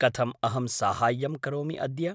कथम् अहं साहाय्यं करोमि अद्य?